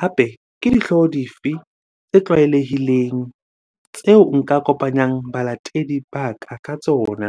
Hape ke dihlooho di fe tse tlwaelehileng tseo nka kopanyang balatedi ba ka ka tsona?